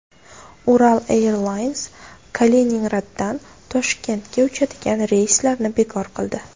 Ural Airlines Kaliningraddan Toshkentga uchadigan reyslarni bekor qildi.